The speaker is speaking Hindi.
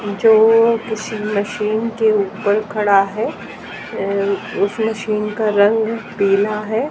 जो किसी मशीन के ऊपर खड़ा है अ उस मशीन का रंग पीला है।